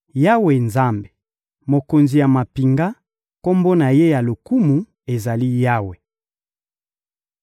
Yawe Nzambe, Mokonzi ya mampinga, Kombo na Ye ya lokumu ezali Yawe.